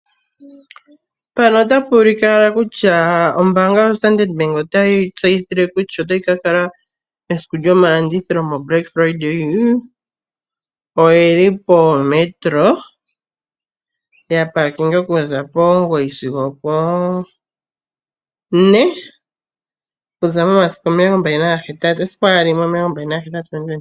Ombaanga lyoStandard bank otayi tseyitha kutya mesiku lyomalanditho ndyono haku tiwa etitano eluudhe, otayi ka kala yili poMetro ethimbo okuza po9 gwongulonene sigo opo4 komatango momasiku o28 Novemba 2025.